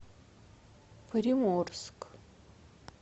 приморск